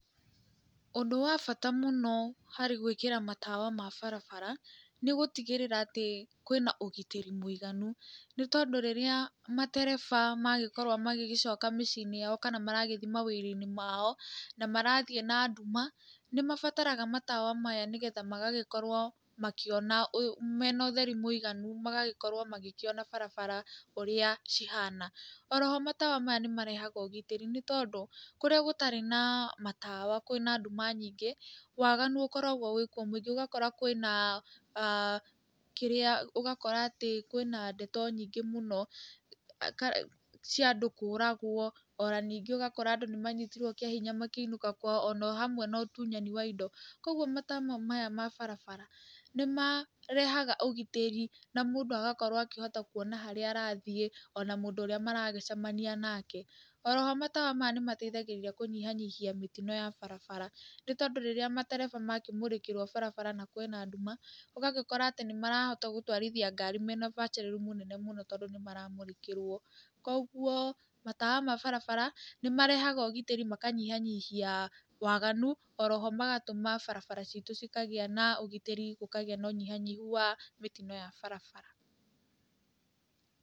Ũndũ wa bata mũno harĩ gwĩkĩra matawa ma barabara nĩ gũtigĩrĩra atĩ kwĩ na ũgitĩri mũiganu. Nĩ tondũ rĩrĩa matereba magĩkorwo magĩgĩcoka mĩciĩ-inĩ yao kana mawĩra-inĩ mao na marathiĩ na nduma, nĩ mabaraga matawa maya nĩgetha magagĩkorwo makĩona mena ũtheru mũiganu magagĩkorwo makĩona barabara ũrĩa cihana. Oro ho matawa maya nĩ marehaga ũgitĩri, nĩ tondũ kũrĩa gũtarĩ na matawa kwĩ na nduma nyingĩ, waganu ũkoragwo wĩkuo mũingĩ. Ũgakora kwĩna kĩrĩa, ũgakora atĩ kwĩna ndeto nyingĩ mũno cia andũ kũũragwo, ona ningĩ ũgakora andũ nĩ manyitirwo kĩa hinya makĩinũka kwao, ona o hamwe na ũtunyani wa indo. Koguo matawa maya ma barabara nĩ marehaga ũgitĩri na mũndũ agakorwo akĩhota kuona harĩa arathiĩ ona mũndũ ũrĩa maragĩcemania nake. Oro ho matawa maya nĩ mateithagĩrĩria kũnyihanyihia mĩtino ya barabara, nĩ tondũ rĩrĩa matereba makĩmũrĩkĩrwo barabara na kwĩna nduma, ũgagĩkora atĩ nĩ marahota gũtwarithia ngari mena ũbacĩru mũnene mũno, tondũ nĩ maramũrĩkĩrwo. Koguo matawa ma barabara nĩ marehaga ũgitĩri makanyihanyihia waganu. Oro ho magatũma barabara citũ cikagĩa na ũgitĩri, gũkagĩa na ũnyihanyihu wa mĩtino ya barabara.